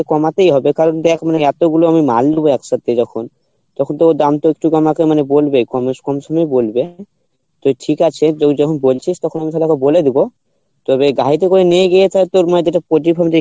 কমাতেই হবে কারণ দেখ আমি এতগুলো আমি মাল নিবো একসাথে যখন তখন তো দাম তো একটু বলবে তো ঠিক আছে তুই যখন বলছিস তখন বলে দিবো তবে গাড়িতে করে নিয়ে গিয়ে তালে তোর মানে যেটা পোল্টির farm